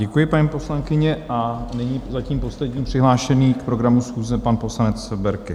Děkuji, paní poslankyně, a nyní zatím poslední přihlášený k programu schůze, pan poslanec Berki.